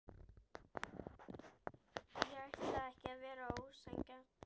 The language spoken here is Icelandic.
Ég ætlaði ekki að vera ósanngjarn.